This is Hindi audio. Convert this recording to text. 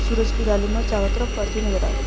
सूरज के रैली में चारों तरफ पर्ची नाज़ा आ रही है।